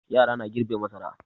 Yara na girbe masara.